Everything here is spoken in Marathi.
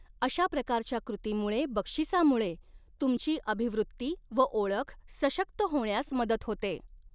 अशा प्रकारच्या कृतीमुळे बक्षीसामुळे तुमची अभिवृत्ती व ओळख सशक्त होण्यास मदत होते.